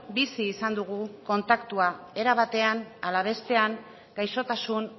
bizi izan dugu kontaktua era batean ala bestean gaixotasun